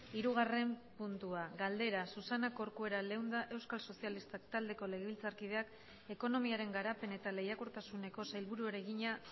hirugarren puntua galdera susana corcuera leunda euskal sozialistak taldeko legebiltzarkideak ekonomiaren garapen eta lehiakortasuneko sailburuari egina